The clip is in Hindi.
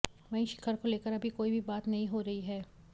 वहीं शिखर को लेकर अभी कोई भी बात नहीं हो रही है